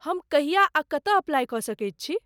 हम कहिया आ कतय अप्लाइ कऽ सकैत छी?